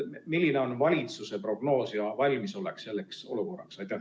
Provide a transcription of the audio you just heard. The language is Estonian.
Milline on valitsuse prognoos ja valmisolek selleks olukorraks?